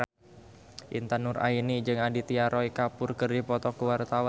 Intan Nuraini jeung Aditya Roy Kapoor keur dipoto ku wartawan